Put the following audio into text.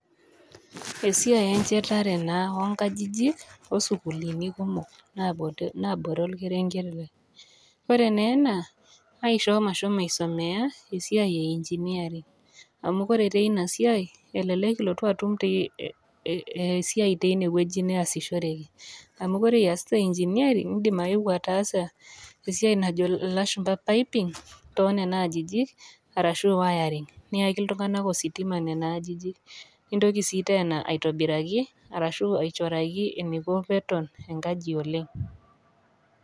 Esiai e nchetare naa o nkajijik o sukulini kumok naa boree olkerenke lai. Kore naa ena naishoo mashomo aisomea esiai e engineering amu koree tee ina siae elelek ilotu atum esiae tee inewueji neasishoreki amu kore iasita engineering indim aewo ataasa esiae najo ilashumba piping too nena ajijik arashu wiring niaki iltung'anak ositima nena ajijik nintoki sii tena aitobiraki arashu aichoraki eneiko pee eton enkaji oleng'.